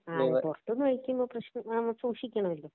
ആ പൊറത്ത്ന്ന് കഴിക്കണ പ്രശ്നാ. സൂക്ഷിക്കണോലോ